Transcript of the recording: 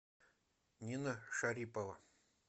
нина шарипова